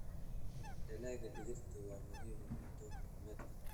Dalagga digirta waa muhiim cunto maalmeedka.